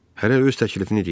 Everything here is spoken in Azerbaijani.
Hərə öz təklifini deyirdi.